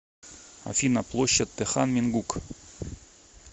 афина площадь тэхан мингук